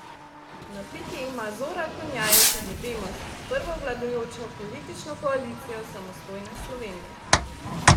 Na piki ima Zora Konjajev tudi Demos, prvo vladajočo politično koalicijo samostojne Slovenije.